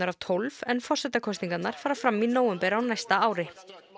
af tólf en forsetakosningarnar fara fram í nóvember á næsta ári